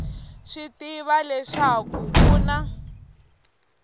swi tiva leswaku ku na